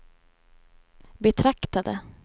betraktade